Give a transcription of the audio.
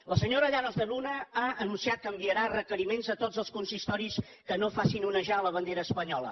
la senyora llanos de luna ha anunciat que enviarà requeriments a tots els consistoris que no facin onejar la bandera espanyola